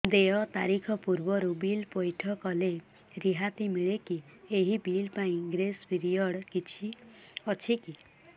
ଦେୟ ତାରିଖ ପୂର୍ବରୁ ବିଲ୍ ପୈଠ କଲେ ରିହାତି ମିଲେକି ଏହି ବିଲ୍ ପାଇଁ ଗ୍ରେସ୍ ପିରିୟଡ଼ କିଛି ଅଛିକି